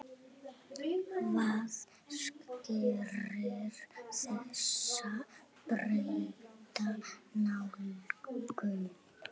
Hvað skýrir þessa breytta nálgun?